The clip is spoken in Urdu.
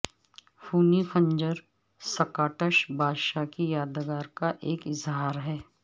خونی خنجر سکاٹش بادشاہ کی یادگار کا ایک اظہار ہے